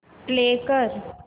play कर